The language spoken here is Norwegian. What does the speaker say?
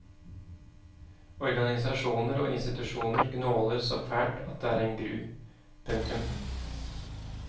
Organisasjoner og institusjoner gnåler så fælt at det er en gru. punktum